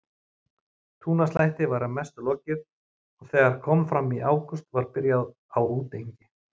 Túnaslætti var að mestu lokið og þegar kom fram í ágúst var byrjað á útengi.